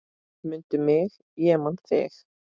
Mundu mig ég man þig.